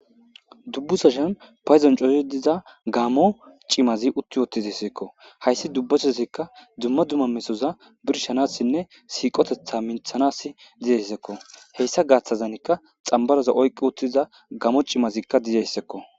Dubbu sashan payzon cozi diza gamo cimazi utti wootizi seekko hayssi dubbathosikka dumma dumma mesoza birshanassinne siiqotetha minthanas dizeyssekko heyssa gaaththazanikka xambaroza oyqqi uttiza gamo cimazikka dizeyssekko.